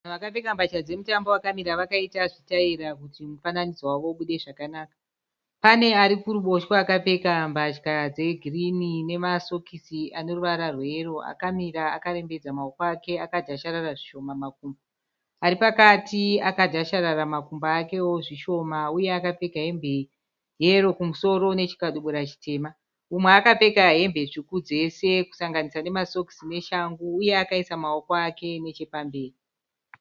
Vanhu vakapfeka mbachka dzemutambo vakamira vakaita zvitaira kuti mufananidzo wavo ubude zvakanaka. Pane arikuruboshwe akapfeka mbachka dzegirirni nemasokisi eruvara rweyero akamira akarembedza mawoko ake akadhasharara zvishoma makumbo. Aripakati akadhasharara makumbo ake wo zvishoma uye akapfeka hembe yero kumusoro nechikadibirura chitema . Umwe akapfeka hembe tsuku dzese kusanganisisra nema sokisi neshangu iye akaisa mawoko pamberi.